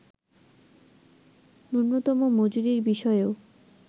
ন্যুনতম মজুরির বিষয়েও